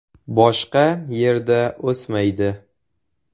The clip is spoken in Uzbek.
Boshqa yerda o‘smaydi.